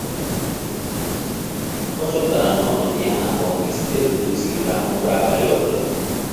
Ọ chọpụtara na ọnọdụ ya na agbanwe site na otu o siri rahụ ụra abalị obula